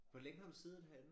Hvor længe har du siddet herinde